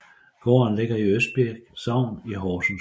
Gården ligger i Østbirk Sogn i Horsens Kommune